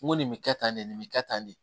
N ko nin bɛ kɛ tan nin bɛ kɛ tan de